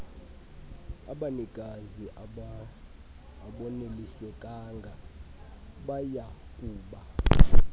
abanikazi abonelisekanga bayakuba